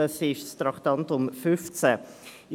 Dies betrifft das Traktandum 15.